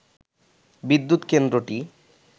বিদ্যুৎ কেন্দ্রটি